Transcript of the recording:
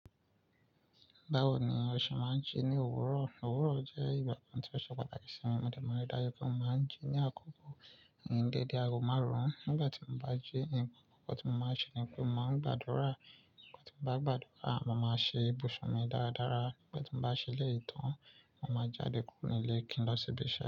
Báwo ni ó ṣe máa ń jí ní òwúrọ̀? Òwúrọ̀ jẹ́ ìgbà kan tí ó ṣe pàtàkì sí mi. Mo dẹ̀ má n rí dájú pé mo máa ń jí ní àkókò ní dédé aago márùn-ún. Nígbà tí mo bá jí, ohunkóho tí mo máa ṣe ni pé mo máa gbàdúrà. Tí ń bá gbàdúrà, mo máa ṣe ibùsùn mi dáradára. Nígbà tí mo bá ṣẹlẹ̀ ìtàn, mo máa jáde kúrò nílé kí n lọ sí ibi iṣẹ́.